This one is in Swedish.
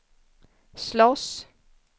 slåss